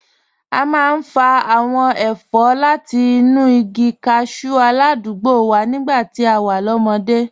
A máa ń fa àwọn ẹ̀fọ́ láti inú igi cashew aládùúgbò wa nígbà tá a wà lọ́mọdé